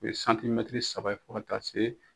U ye saba ye fɔ ka taa se.